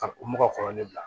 Ka u mɔgɔ kɔrɔlen bila